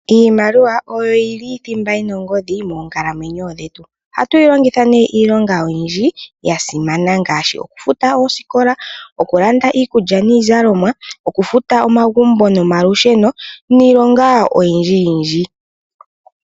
Iimaliwa oyo yina thimba yina ongodhi moonkalamwenyo dhetu. Ohatu yi longitha Iilonga oyindji yasimana ngaashi okufuta oosikola ,okulanda iikulya niizalomwa, okufuta omagumbo nomalusheno niilonga oyindji yindji.